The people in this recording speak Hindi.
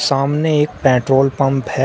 सामने एक पेट्रोल पंप है।